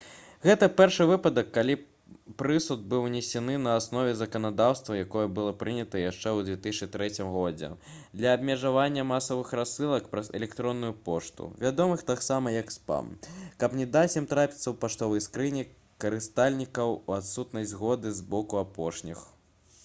гэта першы выпадак калі прысуд быў вынесены на аснове заканадаўства якое было прынята яшчэ ў 2003 годзе для абмежавання масавых рассылак праз электронную пошту вядомых таксама як спам каб не даць ім трапіць у паштовыя скрыні карыстальнікаў у адсутнасць згоды з боку апошніх